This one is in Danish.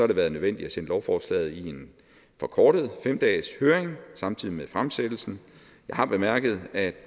det været nødvendigt at sende lovforslaget i en forkortet fem dageshøring samtidig med fremsættelsen jeg har bemærket at